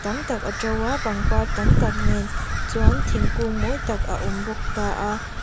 tam tak a to a pangpar tam tak nen chuan thingkung mawi tak a awm bawk taa.